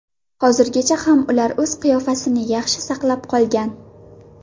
Hozirgacha ham ular o‘z qiyofasini yaxshi saqlab qolgan.